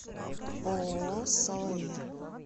ооо салаир